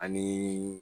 Ani